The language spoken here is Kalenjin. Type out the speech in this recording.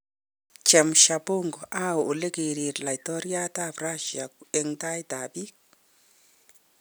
Chemsha bongo: Au ole kiriir laitoryat ab Rasia eng taitab biik?